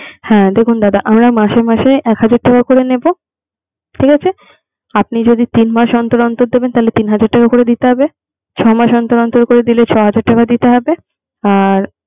হ্যাঁ দেখুন দাদা আমরা মাসে মাসে এক হাজার টাকা করে নেবো, ঠিক আছে। আপনি যদি তিন মাস অন্তর অন্তর দেবেন তাহলে তিন হাজার টাকা করে দিতে হবে। আর ছয় মাস অন্তর অন্তর করে দিলে ছয় হাজার টাকা দিতে হবে। আর